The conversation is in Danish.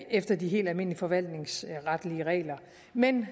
efter de helt almindelige forvaltningsretlige regler men